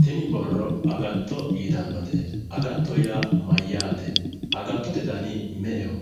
Tini borro agatto yitannote. agatto yaa mayyaate? agattote dani me'eho?